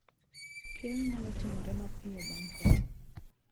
Keyo nyalo timore mapiyo bang' koth